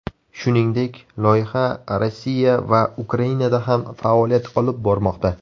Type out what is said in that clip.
Shuningdek, loyiha Rossiya va Ukrainada ham faoliyat olib bormoqda.